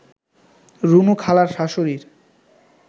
রুনু খালার শাশুড়ির